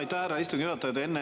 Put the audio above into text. Aitäh, härra istungi juhataja!